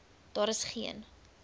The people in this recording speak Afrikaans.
daar is geen